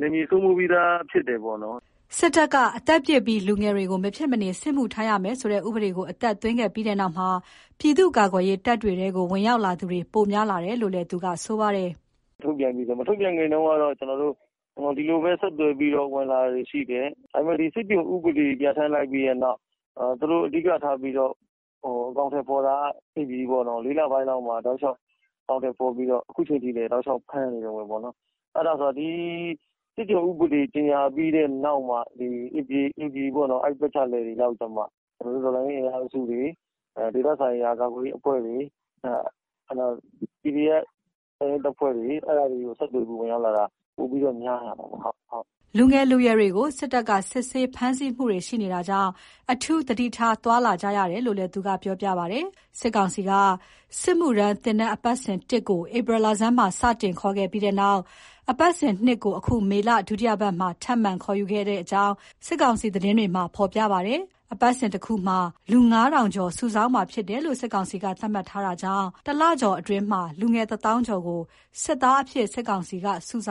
နယ်မြေစိုးမိုးပြီးသားဖြစ်တယ်ပေါ့နော်။” စစ်တပ်က အသက်ပြည့်ပြီး လူငယ်တွေ မဖြစ် မနေ စစ်မှုထမ်းရမယ်ဆိုတဲ့ ဥပဒေကို အသက်သွင်းခဲ့ပြီးနောက်မှာ ပြည်သူ့ကာကွယ်ရေးတပ်ဖွဲ့တွေထဲ ဝင်ရောက်လာသူတွေ ပိုများလာတယ်လို့လည်း သူက ဆိုပါတယ်။ “အကြမ်းဖက် စစ်ကောင်စီရဲ့ စစ်မှုထမ်း ဥပဒေပေါ့ အဲ့ဒါ မထုတ်ပြန်ခင်တုန်းနဲ့ ထုတ်ပြန်ပြီးက မထုတ်ပြန်ခင်တုန်းက ဒီလိုပဲ ဆက်သွယ်ပြီးတော့ ဝင်လာတာတွေတော့ ရှိတယ်။ ဒါပေမယ့် ဒီ စစ်ကျွန်ဥပဒေ ထုတ်ပြန်လိုက်ပြီးတဲ့နောက် သူတို့ အဓိကထားပြီးတော့ အကောင်အထည်ဖော်တာက ဒီ ၄ လ ပိုင်းလောက်မှာ တောက်လျှောက် အကောင်အထည်ဖော်ပြီးတော့ ခုအချိန်ထိလည်း တောက်လျှောက် ဖမ်းနေတုန်းပဲပေါ့။ အဲ့ဒါကြောင့် ဒီစစ်ကျွန်ဥပဒေ ကြေညာပြီးတဲ့ နောက်မှာ ဒီဧပြီပေါ့နော် အဲ့ပတ်ချာလည်တွေ လောက်ကမှ ဒီတော်လှန်ရေး အင်အားစုတွေ ဒေသခံ ကာကွယ်ရေး အဖွဲ့တွေ PDF တပ်ရင်းတပ်ဖွဲ့တွေ အဲ့ဒါတွေဆီကို ဆက်သွယ်ပြီး ဝင်ရောက်လာတာ ပိုပြီးတော့ များလာတာပါ။” လူငယ်၊ လူရွယ်တွေကို စစ်တပ်က စစ်ဆေး ဖမ်းဆီးမှုတွေရှိနေတာကြောင့် အထူးသတိထား သွားလာကြရတယ်လို့လည်း သူက ပြောပြပါတယ်။ စစ်ကောင်စီက စစ်မှုထမ်းသင်တန်းအပတ်စဥ် (၁)ကို ဧပြီလဆန်းမှာ စတင်ခေါ်ယူခဲ့ပြီးနောက် အပတ်စဥ် (၂) ကို အခုမေလ ဒုတိယပတ်မှာ ထပ်မံခေါ်ယူခဲ့ကြောင်း စစ်ကောင်စီ သတင်းဌာနတွေမှာ ဖေါ်ပြထားပါတယ်။ အပတ်စဥ်တခုမှာ လူ ၅၀၀၀ ကျော်စုဆောင်းမှာဖြစ်တယ်လို့ စစ်ကောင်စီက သတ်မှတ်ထားတာကြောင့် တလကျော်အတွင်း လူငယ်တသောင်းကျော်ကို စစ်သားအဖြစ် စစ်ကောင်စီက စုဆောင်